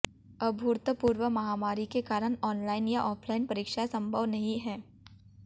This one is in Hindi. अभूतपूर्व महामारी के कारण ऑनलाइन या ऑफलाइन परीक्षाएं संभव नहीं हैं